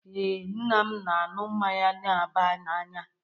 Ee, nna m na-aṅụ mmanya na-aba n'anya